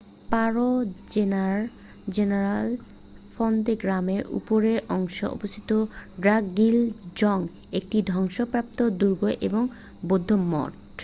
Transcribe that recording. পারো জেলার ফন্দে গ্রামে উপরের অংশে অবস্থিত ড্রাকগিল জং একটি ধ্বংসপ্রাপ্ত দুর্গ এবং বৌদ্ধ মঠ।